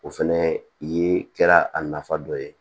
O fɛnɛ ye kɛra a nafa dɔ ye